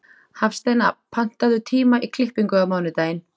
Hafsteina, pantaðu tíma í klippingu á mánudaginn.